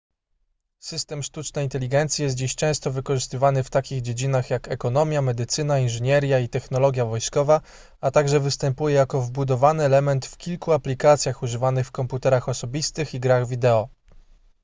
system sztucznej inteligencji jest dziś często wykorzystywany w takich dziedzinach jak ekonomia medycyna inżynieria i technologia wojskowa a także występuje jako wbudowany element w kilku aplikacjach używanych w komputerach osobistych i grach wideo